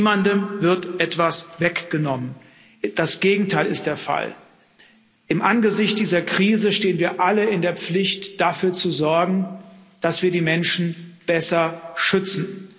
Niemandem wird etwas weggenommen das Gegenteil ist der Fall. Im Angesicht dieser Krise stehen wir alle in der Pflicht, dafür zu sorgen, dass wir die Menschen besser schützen.